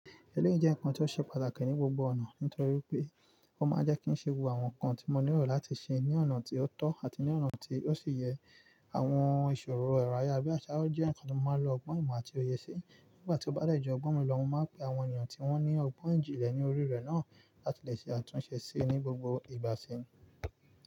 Eléyìí jẹ́ nǹkan tí ó ṣe pàtàkì ní gbogbo ọ̀nà nítorí pé ó máa ń jẹ́ kí n ṣe gbogbo àwọn nǹkan tí mo nírò láti ṣe ní ọ̀nà tí ó tọ́ àti ní ọ̀nà tí ó sì yẹ. Àwọn ìṣòro ẹ̀rọ ayárabíàṣá jẹ́ nǹkan tí mo máa ń lo ọgbọ́n ìmọ̀ àti òye sí nígbà tí ó bá dẹ́ jù ọgbọ́n mi lọ. Mo máa ń pe àwọn ènìyàn tí wọ́n ní ọgbọ́n ijínlẹ̀ ní orí rẹ̀ náà láti lè ṣe àtúnṣe síi ní gbogbo ìgbá si.